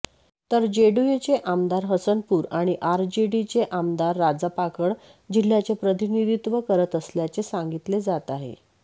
तर जेडीयूचे आमदार हसनपुर आणि आरजेडीचे आमदार राजापाकड जिल्ह्याचे प्रतिनिधीत्व करत असल्याचे सांगितले जात आहे